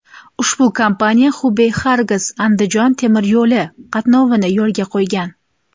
Ushbu kompaniya Xubey–Xorgas–Andijon temir yo‘li qatnovini yo‘lga qo‘ygan.